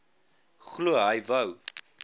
glo hy wou